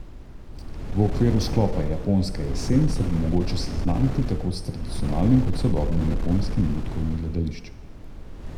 V okviru sklopa Japonska jesen se bo mogoče seznaniti tako s tradicionalnim kot sodobnim japonskim lutkovnim gledališčem.